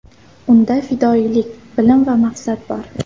Unda fidoyilik, bilim va maqsad bor.